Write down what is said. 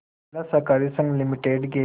जिला सहकारी संघ लिमिटेड के